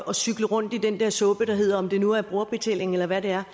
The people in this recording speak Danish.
at cykle rundt i den der suppe der hedder om det nu er brugerbetaling eller hvad det er